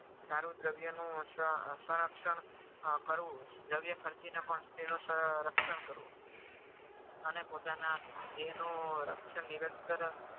સારું દ્રવ્યનું સંરક્ષણ કરવું દ્રવ્ય કરીને ખર્ચીને પણ સ્ત્રીનું સંરક્ષણ કરવું અને પોતાના દેહનું રક્ષણ નિરંતર